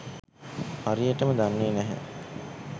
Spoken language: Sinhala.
හරියටම දන්නෙ නැහැ